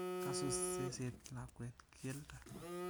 Kasus seset lakwet keldo.